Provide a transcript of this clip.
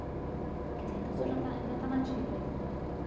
Quer dizer, então o senhor já está, ainda está nativo ainda?